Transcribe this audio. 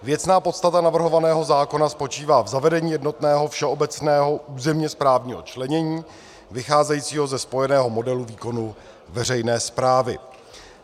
Věcná podstata navrhovaného zákona spočívá v zavedení jednotného všeobecného územně správního členění vycházejícího ze spojeného modelu výkonu veřejné správy.